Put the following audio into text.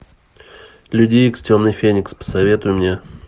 люди икс темный феникс посоветуй мне